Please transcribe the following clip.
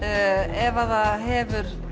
ef það hefur